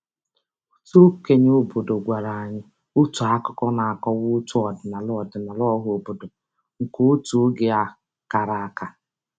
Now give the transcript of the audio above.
Otu okenye obodo gwara anyị otu akụkọ na-akọwa otu ọdịnala ọdịnala ọhaobodo nke otu oge a kara aka.